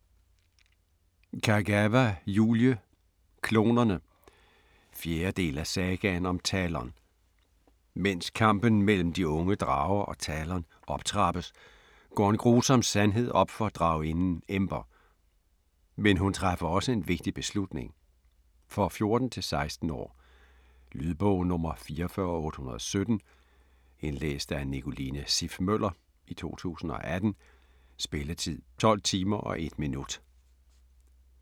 Kagawa, Julie: Klonerne 4. del af Sagaen om Talon. Mens kampen mellem de unge drager og Talon optrappes, går en grusom sandhed op for draginden Ember. Men hun træffer også en vigtig beslutning. For 14-16 år. Lydbog 44817 Indlæst af Nicoline Siff Møller, 2018. Spilletid: 12 timer, 1 minut.